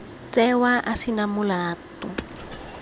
tsewa a se na molato